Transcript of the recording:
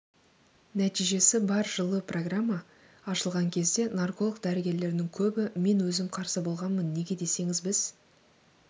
нәтижесі бар жылы программа ашылған кезде нарколог дәрігерлердің көбі мен өзім қарсы болғанмын неге десеңіз біз